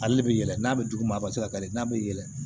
Ale de bɛ yɛlɛ n'a bɛ duguma a bɛ se ka kari n'a bɛ yɛlɛ